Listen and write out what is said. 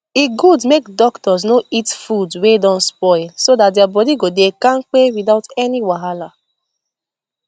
e good make doctors no eat food wey don spoil so that their body go dey kampe without any wahala